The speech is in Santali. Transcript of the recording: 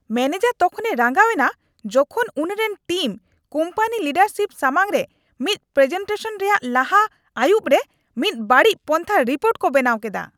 ᱢᱮᱱᱮᱡᱟᱨ ᱛᱚᱠᱷᱚᱱᱮ ᱨᱟᱸᱜᱟᱣ ᱮᱱᱟ ᱡᱚᱠᱷᱚᱱ ᱩᱱᱤᱨᱮᱱ ᱴᱤᱢ ᱠᱳᱢᱯᱟᱱᱤ ᱞᱤᱰᱟᱨᱥᱤᱯ ᱥᱟᱢᱟᱝᱨᱮ ᱢᱤᱫ ᱯᱨᱮᱡᱮᱴᱮᱥᱚᱱ ᱨᱮᱭᱟᱜ ᱞᱟᱦᱟ ᱟᱹᱭᱩᱵᱨᱮ ᱢᱤᱫ ᱵᱟᱹᱲᱤᱡ ᱯᱚᱱᱛᱷᱟ ᱨᱤᱯᱳᱨᱴ ᱠᱚ ᱵᱮᱱᱟᱣ ᱠᱮᱫᱟ ᱾